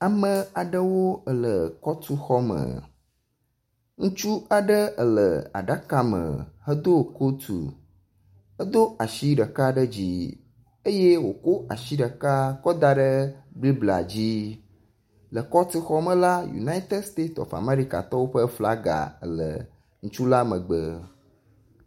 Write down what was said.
Ame aɖewo ele kɔtuxɔme. Ŋutsu aɖe ele aɖaka me hedo kotu edo asi ɖeka ɖe dzi eye woko asi ɖeka kɔ da ɖe bible dzi le kɔtu xɔ me la United State of Amerika ƒe flaga ele ŋutsu la megbe.